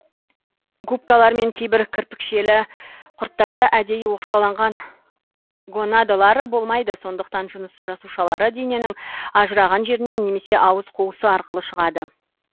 губкалар мен кейбір кірпікшелі құрттарда әдейі оқшауланған гонадалар болмайды сондықтан жыныс жасушалары дененің ажыраған жерінен немесе ауыз қуысы арқылы шығады